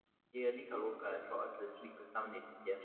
Ég er líka lokaður frá öllu slíku samneyti hér.